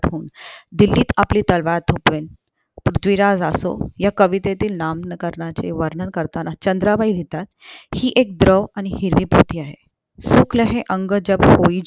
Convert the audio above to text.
दिल्लीत आपली तलवार थोपवेल पृथ्वीराज आसो ह्या कवितेतील नाम करण्याचे वर्णन करताना चंद्राबाई लिहितात हि ऐक द्रव आणि हिरवी पृथ्वी आहे सुख लहे अंग जाब